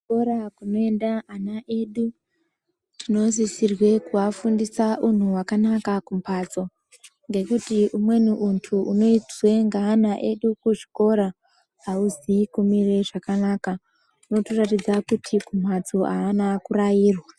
Zvikora zvinoenda vana vedu tinosisirwa kuvafundisa kwakanaka kumbatso ngekuti umweni muntu unonzwana zvakanaka kuchikora azvina kumira zvakanaka unotoratidza kuti kumbatso avana kurairwa.